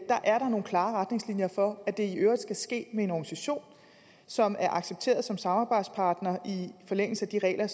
er nogle klare retningslinjer for at det i øvrigt skal ske med en organisation som er accepteret som samarbejdspartner i forlængelse af de regler